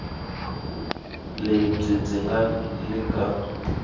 lebyi byi nga le ka